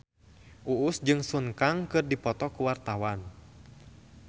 Uus jeung Sun Kang keur dipoto ku wartawan